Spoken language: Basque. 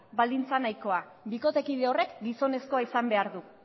baldintza nahikoa bikotekide horrek gizonezkoa izan behar du